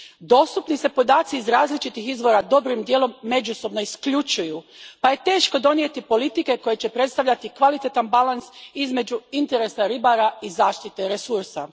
Dostupni se podaci iz različitih izvora dobrim dijelom međusobno isključuju pa je teško donijeti politike koje će predstavljati kvalitetan balans između interesa ribara i zaštite resursa.